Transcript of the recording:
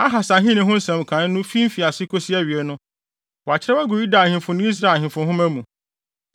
Ahas ahenni ho nsɛm nkae no fi mfiase kosi awiei no, wɔakyerɛw agu Yuda ahemfo ne Israel ahemfo nhoma mu.